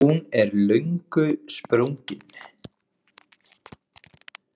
Hún er löngu sprungin.